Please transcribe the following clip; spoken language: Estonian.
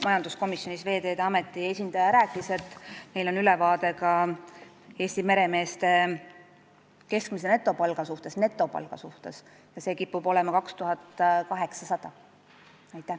Majanduskomisjonis rääkis Veeteede Ameti esindaja, et neil on ülevaade ka Eesti meremeeste keskmisest netopalgast, mis kipub olema 2800 eurot.